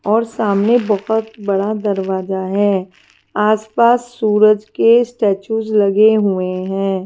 और सामने बहुत बड़ा दरवाजा है आसपास सूरज के स्टैचूज लगे हुए हैं।